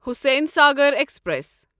Hussain Sagar express